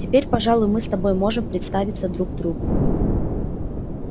теперь пожалуй мы с тобой можем представиться друг другу